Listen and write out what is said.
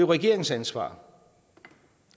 regeringens ansvar